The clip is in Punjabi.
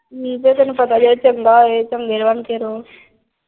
ਨੀ ਤੈਨੂੰ ਪਤਾ ਜਿਹੜਾ ਚੰਗਾ ਹੋਏ ਚੰਗੇ ਬਣ ਕੇ ਰਹੋ।